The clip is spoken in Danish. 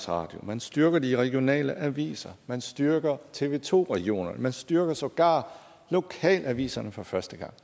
radio man styrker de regionale aviser man styrker tv to regionerne man styrker sågar lokalaviserne for første gang